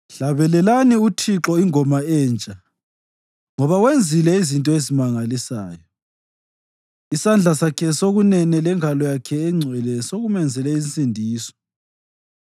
Hlabelelani uThixo ingoma entsha, ngoba wenzile izinto ezimangalisayo; isandla sakhe sokunene lengalo yakhe engcwele sekumenzele insindiso.